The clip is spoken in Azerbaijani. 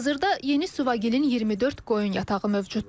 Hazırda Yeni Suvagilin 24 qoyun yatağı mövcuddur.